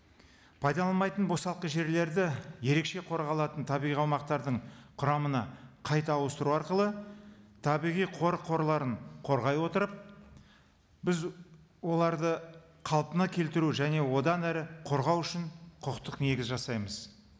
пайдаланбайтын босалқы жерлерді ерекше қорғалатын табиғи аумақтардың құрамына қайта ауыстыру арқылы табиғи қорық қорларын қорғай отырып біз оларды қалпына келтіру және одан әрі қорғау үшін құқықтық негіз жасаймыз